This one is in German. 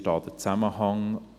Wie ist da der Zusammenhang?